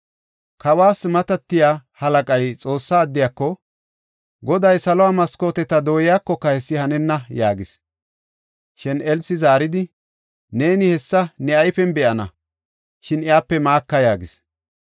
Kawas matatiya halaqay Xoossa addiyako, “Goday salo maskooteta dooyakoka hessi hanenna” yaagis. Shin Elsi zaaridi, “Neeni hessa ne ayfiyan be7ana; shin iyape maaka” yaagis.